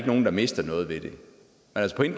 nogen der mister noget ved det